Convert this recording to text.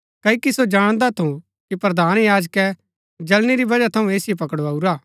क्ओकि सो जाणदा थू कि प्रधान याजकै जळणी री वजह थऊँ ऐसिओ पकड़ाऊरा